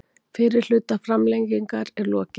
Fyrri hluta framlengingar er lokið